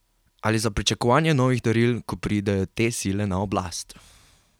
Ali za pričakovanje novih daril, ko pridejo te sile na oblast?